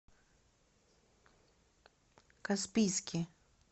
каспийске